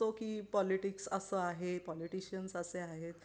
की पॉलीटिक्स असा आहे पॉलीटिशीयन्स असे आहेत